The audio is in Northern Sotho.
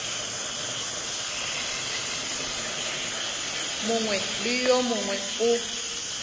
mongwe le wo mongwe o